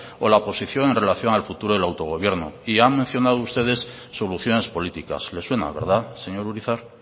o la posición en relación al futuro del autogobierno y han mencionado ustedes soluciones políticas le suena verdad señor urizar